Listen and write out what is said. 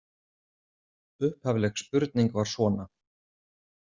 Upphafleg spurning var svona